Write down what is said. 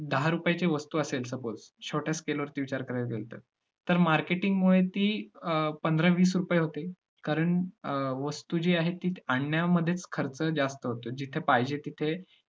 दहा रुपयाची वस्तु असेल suppose छोट्या scale वरती विचार करायला गेलो तर, marketing मुळे ती पंधरा, वीस रुपये होते, कारण वस्तु जी आहे ती आणण्यामध्येच खर्च जास्त होतो. जिथं पाहिजे तिथे